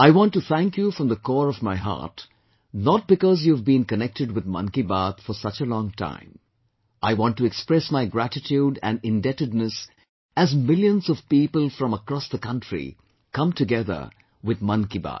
I want to thank you from the core of my heart, not because you have been connected with Mann Ki Baat, for such a long time I want to express my gratitude and indebtedness as millions of people from across the country come together with Mann ki Baat